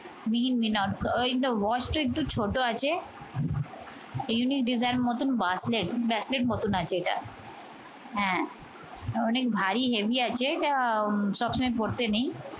মিহিন মিহিন ওই তো watch টা একটু ছোট আছে। unique design মত bracelet braclet মতন আছে এটা। হ্যাঁ অনেক ভারী heavy আছে এটা। সবসময় পরতে নেই।